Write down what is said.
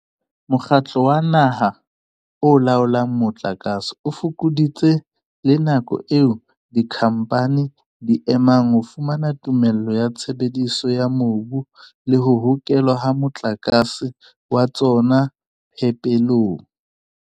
Mokgatlo wa Naha o Laolang Motlakase o fokoditse le nako eo dikhamphane di e emang ho fumana tumello ya tshebediso ya mobu le ho hokelwa ha motlakase wa tsona phepelong.